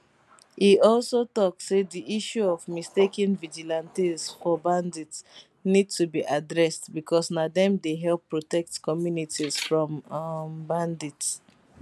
e also tok say di issue of mistaking vigilantes for bandits need to be addressed becos na dem dey help protect communities from um bandits